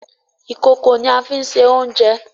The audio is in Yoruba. Ìkòkò ni a fí ń se oúnjẹ.